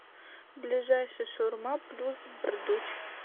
ближайший шаурма плюсбрдуч